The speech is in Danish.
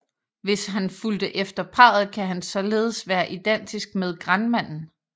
Hvis han fulgte efter parret kan han således være identisk med Grandmanden